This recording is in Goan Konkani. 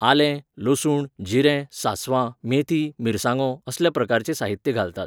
आलें, लसूण, जिरें, सांसवां, मेथी, मिरसांगो, असल्या प्रकारचें साहित्य घालतात.